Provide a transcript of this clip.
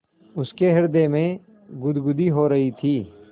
उसके हृदय में गुदगुदी हो रही थी